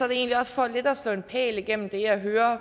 egentlig også for lidt at slå en pæl igennem det jeg hører